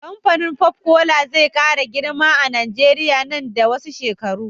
Kamfanin pop cola zai kara girma a nigeria nan da wasu shekaru